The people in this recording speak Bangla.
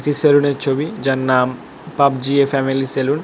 সেলুন -এর ছবি যার নাম পাবজি এ ফ্যামিলি সেলন ।